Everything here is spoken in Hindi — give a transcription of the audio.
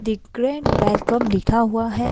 द ग्रीन वेलकम लिखा हुआ है।